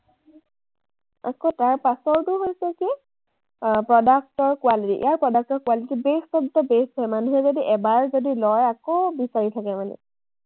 আকৌ তাৰ পাছৰটো হৈছে কি, আহ product ৰ quality । ইয়াৰ product ৰ quality best of the best হয়। মানুহে যদি এবাৰ যদি লয়, আকৌ বিচাৰি থাকে মানে।